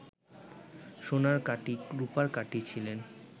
সোনার কাটি রুপার কাটি ছিলেন